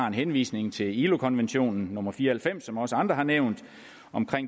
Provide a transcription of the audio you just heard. en henvisning til ilo konvention nummer fire og halvfems som også andre har nævnt om